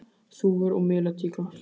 Þúfur og melatíglar.